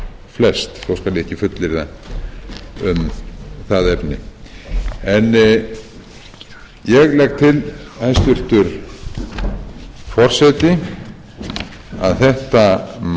flest þó skal ég ekki fullyrða um það efni ég legg til hæstvirtur forseti að þetta mál fari til að